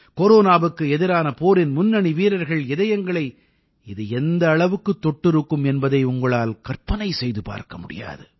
கொரோனாவுக்கு எதிரான போரின் முன்னணி வீரர்கள் இதயங்களை இது எந்த அளவுக்குத் தொட்டிருக்கும் என்பதை உங்களால் கற்பனை செய்து பார்க்க முடியாது